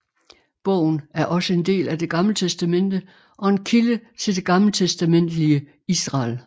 Bogen er også en del af Det Gamle Testamente og en kilde til det gammeltestamentlige Israel